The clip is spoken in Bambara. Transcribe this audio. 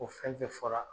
O fɛn fɛn fɔra